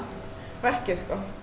verkið